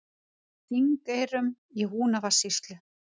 Þingeyrum í Húnavatnssýslu.